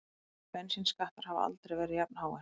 Bensínskattar hafa aldrei verið jafnháir